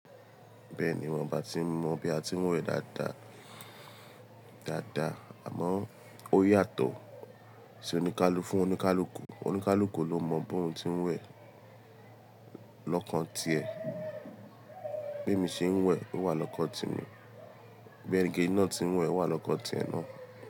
Bẹ́ẹ̀ni wọ́n bá ti mọ bí a ti ń wẹ̀ dáadáa, dáadáa, àmọ́ ó yàtọ̀ sí oníkálù fún oníkálukú. Oníkálukú ló mọ bóòún ti ń wẹ̀ lọ́kàn ti ẹ̀. Bí èmi ṣe ń wẹ̀, ó wà lọ́kàn temi. Bí ẹni gé náà ti ń wẹ̀ wà lọ́kàn ti ẹ náà.